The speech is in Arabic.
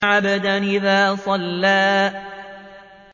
عَبْدًا إِذَا صَلَّىٰ